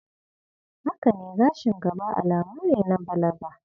Haka ne gashin gaba alamu ne na balaga.